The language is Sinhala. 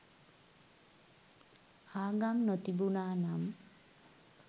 ආගම් නොතිබුනා නම්